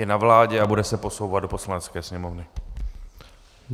Je na vládě a bude se posouvat do Poslanecké sněmovny.